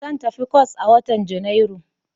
Zan tafi kwas a watan Janairu.